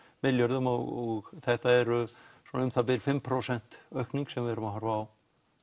milljörðum og þetta eru svona um það bil fimm prósent aukning sem við erum að horfa á